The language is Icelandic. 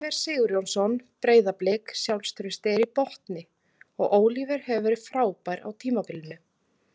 Oliver Sigurjónsson- Breiðablik Sjálfstraustið er í botni og Oliver hefur verið frábær á tímabilinu.